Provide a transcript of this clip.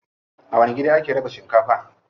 A wani gida ake raba shinkafa?